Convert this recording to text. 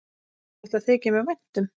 Þetta þykir mér vænt um.